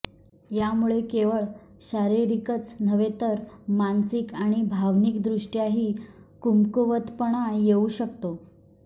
यामुळे केवळ शारीरिकच नव्हे तर तर मानसिक आणि भावनिकदृष्ट्याही कमकुवतपणा येऊ शकतो